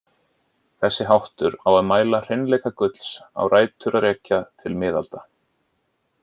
Þessi háttur á að mæla hreinleika gulls á rætur að rekja til miðalda.